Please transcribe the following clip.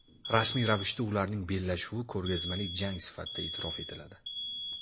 Rasmiy ravishda ularning bellashuvi ko‘rgazmali jang sifatida e’tirof etiladi.